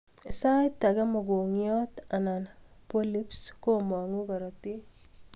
Sait agee mogongiot ana polyps komanguu korotik